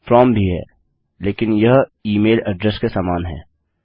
from भी है लेकिन यह ई मेल अड्रेस के समान है